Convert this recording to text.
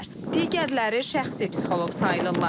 Digərləri şəxsi psixoloq sayılırlar.